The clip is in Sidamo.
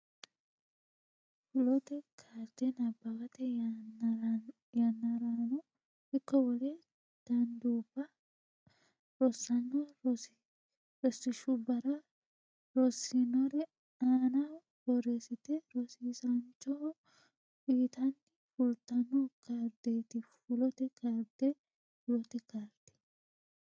Fulote Kaarde nabbawate yannarano ikko wole danduubba rossanno rosiishshubbara rossinore aanaho borreessite rosiisaanchoho uytanni fulatanno kaardeeti Fulote Kaarde Fulote Kaarde.